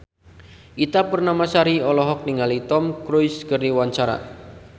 Ita Purnamasari olohok ningali Tom Cruise keur diwawancara